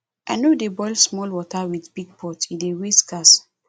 i no dey boil small water with big pot e dey waste gas